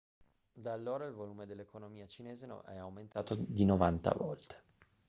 da allora il volume dell'economia cinese è aumentato di 90 volte